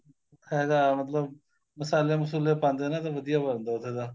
ਹੈਗਾ ਮਤਲਬ ਮਸਾਲੇ ਮਸੁਲੇ ਪਾਂਦੇ ਨੇ ਤੇ ਵਧੀਆ ਬਣਦਾ ਉੱਥੇ ਦਾ